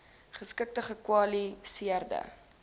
geskikte gekwali seerde